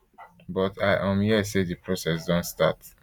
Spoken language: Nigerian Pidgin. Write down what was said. but i um hear say di process don start